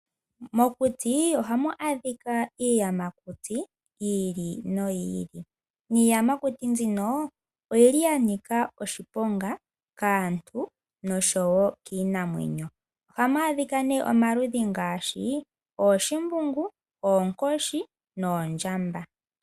Mokuti ohamu adhika iiyamakuti yi ili noyi ili, niiyamakuti mbino oyi li ya nika oshiponga kaantu nosho wo kiinamwenyo. Ohamu adhika nee omaludhi ngaashi ooshimbungu, oonkoshi noondjamba.